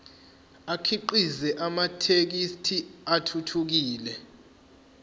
akhiqize amathekisthi athuthukile